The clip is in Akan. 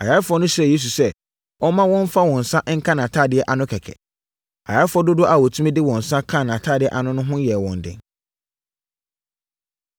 Ayarefoɔ no srɛɛ Yesu sɛ, ɔmma wɔmfa wɔn nsa nka nʼatadeɛ ano kɛkɛ. Ayarefoɔ dodoɔ a wɔtumi de wɔn nsa kaa nʼatadeɛ ano no ho yɛɛ wɔn den.